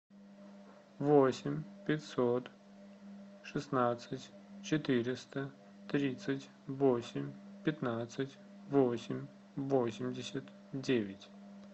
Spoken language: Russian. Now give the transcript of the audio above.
восемь пятьсот шестнадцать четыреста тридцать восемь пятнадцать восемь восемьдесят девять